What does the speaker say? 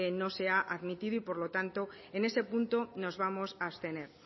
no se ha admitido y por lo tanto en ese punto nos vamos a abstener